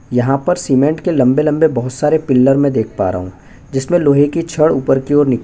यहाँ पर सीमेंट के लंबे - लंबे बहुत सारे पिलर मै देख पा रहा हूँ जिसमें लोहे की छड़ ऊपर की ओर निकल --